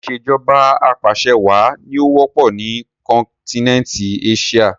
Ìsèjọba apàṣẹwà ni ó wọ́pọ̀ ni kọ́nkínẹntí Éṣíà